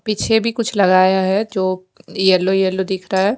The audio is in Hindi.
पीछे भी कुछ लगाया है जो येलो येलो दिख रहा है।